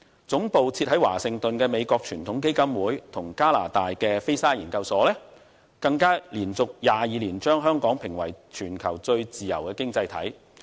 總部設於華盛頓的美國傳統基金會及加拿大的菲沙研究所，更連續22年把香港評為全球最自由的經濟體。